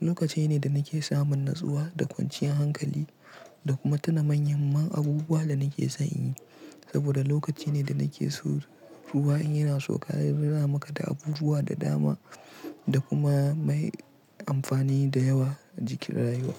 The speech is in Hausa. Lokaci ne da nake samun natsuwa da kwanciyar hankali da kuma tuna manyan muhimman abubuwa da nake son in yi. Saboda lokaci ne da nake so ruwa in yana sauka ya nunamaka da abubuwa da dama da kuma mai amfani da yawa jikin rayuwa.